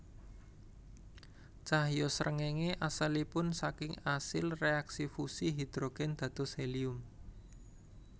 Cahya srengéngé asalipun saking asil réaksi fusi hidrogen dados helium